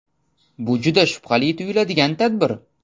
Bu juda shubhali tuyuladigan tadbir.